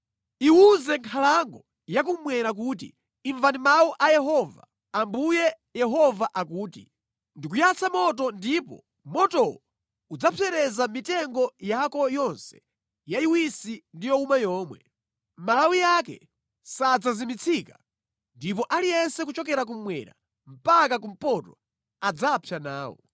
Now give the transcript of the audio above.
Iwuze nkhalango yakummwera kuti, ‘Imvani mawu a Yehova! Ambuye Yehova akuti: Ndikuyatsa moto ndipo motowo udzapsereza mitengo yako yonse yayiwisi ndi yowuma yomwe. Malawi ake sadzazimitsika ndipo aliyense kuchokera kummwera mpaka kumpoto adzapsa nawo.